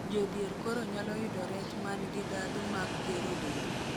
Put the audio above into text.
jodhier koro nyalo yudo rech man gi dhadhu mag gero del